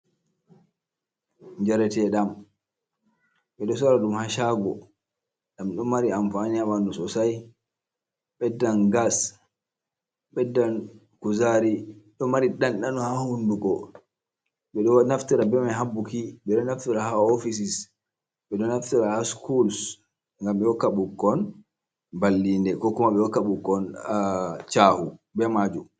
Njarete ɗam ɓe ɗo sora ɗum ha shaago ɗam ɗo mari amfaani ha ɓandu sosai ɓeddan gas, ɓeddan kuzari ɗo mari ɗanɗano ha hunduko, ɓe ɗo naftira be mai ha buki ɓe ɗo naftira ha ofisis, ɓe ɗo naftira ha sukuls ngam ɓe hokka ɓukkon ballinde ko kuma ɓe hokka ɓukkon chahu be majum.